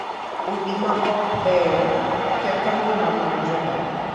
Odi ma ok beyo ketho ngima mar jodak.